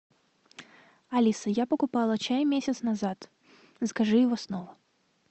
алиса я покупала чай месяц назад закажи его снова